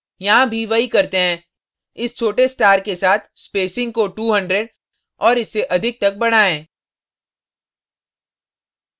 यहाँ भी वही करते हैं इस छोटे star के साथ spacing को 200 और इससे अधिक तक बढ़ाएं